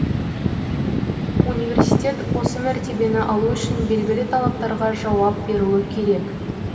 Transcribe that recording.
университет осы мәртебені алу үшін белгілі талаптарға жауап беруі керек